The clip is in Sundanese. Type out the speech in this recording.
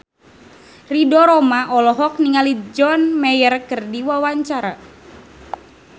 Ridho Roma olohok ningali John Mayer keur diwawancara